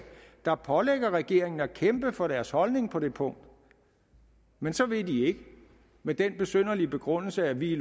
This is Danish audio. der pålægger regeringen at kæmpe for deres holdning på det punkt men så vil de ikke med den besynderlige begrundelse at vi